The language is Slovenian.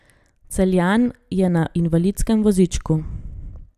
Celjan je na invalidskem vozičku.